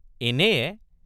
এনেয়ে?